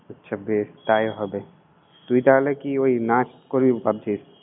আচ্ছা বেশ, তাই হবে। তুই তালে কি ওই নাচ করবি ভাবছিস?